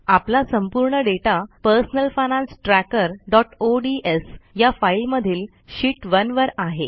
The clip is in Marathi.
आपला संपूर्ण डेटा पर्सनल फायनान्स trackerओडीएस या फाईल मधील शीत 1 वर आहे